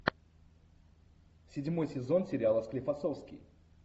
седьмой сезон сериала склифосовский